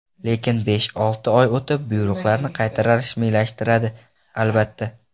Lekin besh-olti oy o‘tib buyruqlarni qayta rasmiylashtiradi, albatta.